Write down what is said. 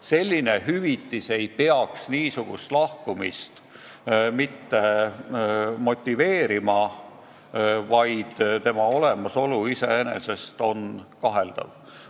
Selline hüvitis ei tohiks niisugust lahkumist motiveerida ja selle olemasolu õigustus iseenesest on kaheldav.